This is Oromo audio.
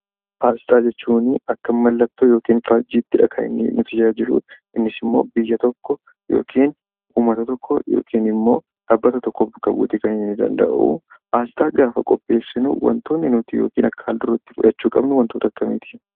Asxaa jechuun akka mallattoo yokiin faajjiittidha kan inni nu tajaajiluu. Innisimmoo biyya tokko yokiin uummata tokko yokin immoo dhaabbata tokko bakka bu'uutii kan inni danda'u. Asxaa gaafa qopheessinuu wantoonni nuti yokiin akka haal-dureetti fudhachuu qabnuu wantoota akkamiiti?